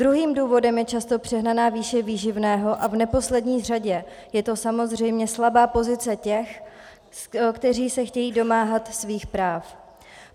Druhým důvodem je často přehnaná výše výživného a v neposlední řadě je to samozřejmě slabá pozice těch, kteří se chtějí domáhat svých práv.